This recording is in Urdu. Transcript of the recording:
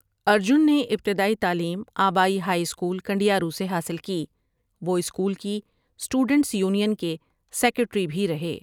ارجن نے ابتدائی تعلیم آبائی ہائی اسکول کنڈیارو سے حاصل کی وہ اسکول کی اسٹوڈنٹس یونین کے سیکریٹری بھی رہے ۔